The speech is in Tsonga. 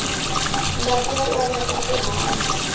ngati ya laveka ku hanya